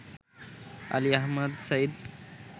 Ali Ahmad Saeed